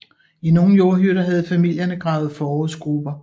I nogle jordhytter havde familierne gravet forrådsgruber